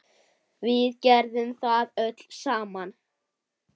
Við gerðum það öll saman.